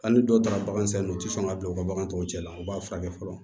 Hali ni dɔw tara bagan sanni ye u ti sɔn ka bila u ka bagan tɔw cɛ la u b'a furakɛ fɔlɔ